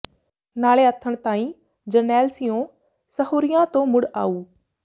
ਨਾਲੇ ਆਥਣ ਤਾਈਂ ਜਰਨੈਲ ਸਿਉਂ ਸਹੁਰਿਆਂ ਤੋਂ ਮੁੜ ਆਊ